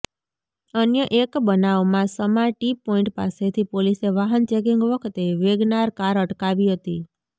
અન્ય એક બનાવમાં સમા ટી પોઈન્ટ પાસેથી પોલીસે વાહન ચેકિંગ વખતે વેગનાર કાર અટકાવી હતી